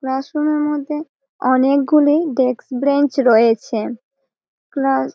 classroom -এর মধ্যে অনেগুলি ডেস্ক ব্রেঞ্চ রয়েছে ক্লাস --